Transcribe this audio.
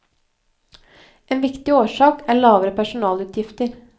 En viktig årsak er lavere personalutgifter.